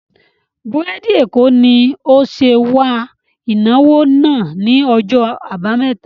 Búrèdì Èkó ni ó ṣe wà ìnáwó náà ni ọjọ́ àbámẹ́ta